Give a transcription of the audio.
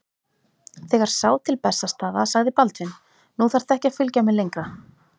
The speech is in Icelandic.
Þegar sá til Bessastaða sagði Baldvin:-Nú þarftu ekki að fylgja mér lengra.